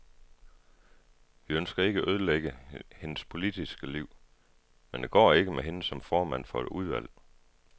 Vi ønsker ikke at ødelægge hendes politiske liv, men det går ikke med hende som formand for et udvalg.